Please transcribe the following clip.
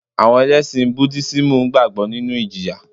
Àwọn Ẹlẹ́sìn Budísímù gbàgbọ́ nínu ìjìyà